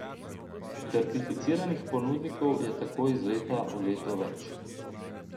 Certificiranih ponudnikov je tako iz leta v leto več.